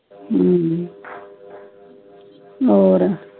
ਹੱਮ ਹੋਰ